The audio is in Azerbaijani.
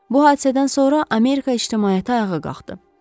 Bu hadisədən sonra Amerika ictimaiyyəti ayağa qalxdı.